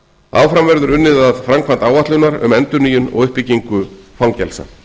áfram verður unnið að framkvæmd áætlunar um endurnýjun og uppbyggingu fangelsa